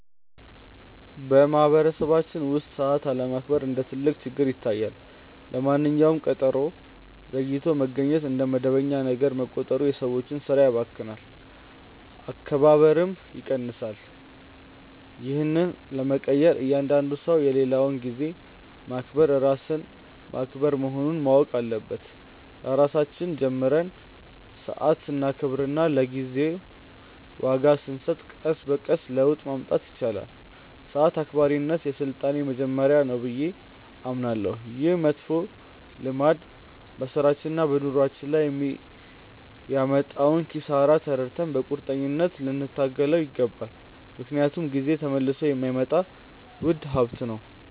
በማኅበረሰባችን ውስጥ ሰዓት አለማክበር እንደ ትልቅ ችግር ይታየኛል። ለማንኛውም ቀጠሮ ዘግይቶ መገኘት እንደ መደበኛ ነገር መቆጠሩ የሰዎችን ሥራ ያባክናል፣ መከባበርንም ይቀንሳል። ይህን ለመቀየር እያንዳንዱ ሰው የሌላውን ጊዜ ማክበር ራስን ማክበር መሆኑን ማወቅ አለበት። ከራሳችን ጀምረን ሰዓት ስናከብርና ለጊዜ ዋጋ ስንሰጥ ቀስ በቀስ ለውጥ ማምጣት ይቻላል። ሰዓት አክባሪነት የሥልጣኔ መጀመሪያ ነው ብዬ አምናለሁ። ይህ መጥፎ ልማድ በሥራችንና በኑሯችን ላይ የሚያመጣውን ኪሳራ ተረድተን በቁርጠኝነት ልንታገለው ይገባል፤ ምክንያቱም ጊዜ ተመልሶ የማይመጣ ውድ ሀብት ነው።